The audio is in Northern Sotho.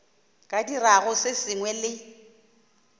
ka dirago se sengwe le